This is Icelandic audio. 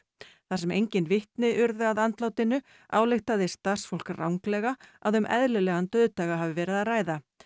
þar sem engin vitni urðu að andlátinu ályktaði starfsfólk ranglega að um eðlilegan dauðdaga hafi verið að ræða